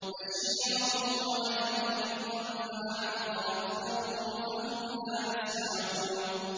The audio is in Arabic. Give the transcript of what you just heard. بَشِيرًا وَنَذِيرًا فَأَعْرَضَ أَكْثَرُهُمْ فَهُمْ لَا يَسْمَعُونَ